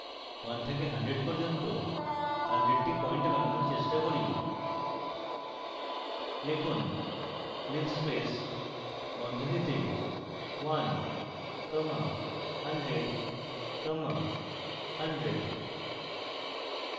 1 থেকে 100 পর্যন্ত 100 try point বানানোর চেষ্টা করি লিখুন: linspace বন্ধনীতে 1 comma 100 comma 100